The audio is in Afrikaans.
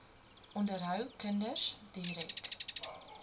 onderhou kinders direk